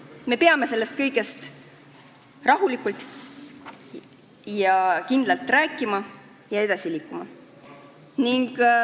Me peame sellest kõigest rahulikult ja kindlalt rääkima ning edasi liikuma.